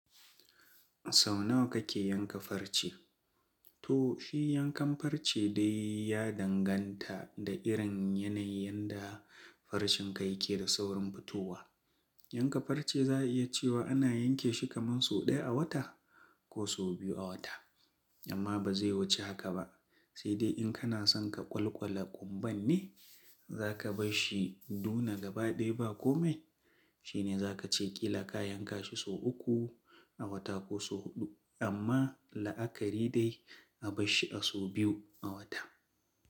Sau nawa kake yanka farce? To shi yankan farce dai ya danganta da irin yanayin da farcen ka yake da saurin fitowa. Yanka farce za a iya cewa ana yanke shi kamar sau ɗaya a wata ko sau biyu a wata. Amma ba zai wuce haka ba, sai dai in kana son ka kwalkwale ƙumban ne, za ka bash shi duna gaba ɗaya ba kome, shine za ka ce ƙila ka yanka shi sau uku a wata ko sau huɗu. Amma la'akari dai a bar shi a sau biyu a wata.